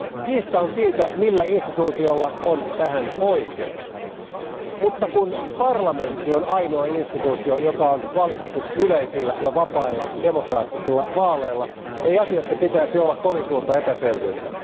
Kiista on siitä, millä instituutiolla on tähän oikeus, mutta kun parlamentti on ainoa instituutio, joka on valittu yleisillä ja vapailla demokraattisilla vaaleilla, ei asiassa pitäisi olla kovin suurta epäselvyyttä.